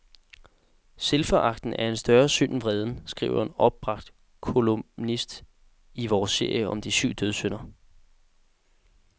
Selvforagten er en større synd end vreden, skriver en opbragt kolumnist i vores serie om de syv dødssynder.